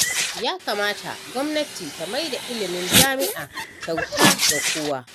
Ya kamata gwamnati ta maida ilimin jami'a kyauta ga kowa.